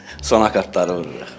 Son akkaardları vururuq.